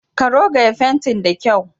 Ka rogaya fantin da kyau.